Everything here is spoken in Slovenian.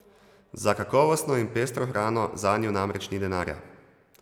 Za kakovostno in pestro hrano zanju namreč ni denarja.